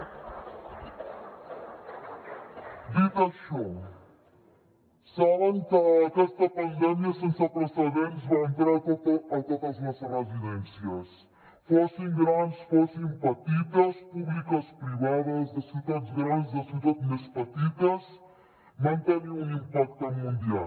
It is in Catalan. dit això saben que aquesta pandèmia sense precedents va entrar a totes les residències fossin grans fossin petites públiques privades de ciutats grans de ciutats més petites va tenir un impacte mundial